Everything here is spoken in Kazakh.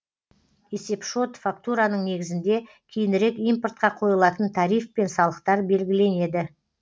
есепшот фактураның негізінде кейінірек импортқа қойылатын тариф пен салықтар белгіленеді